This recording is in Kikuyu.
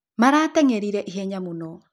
Maratengerĩre ĩhenya mũno.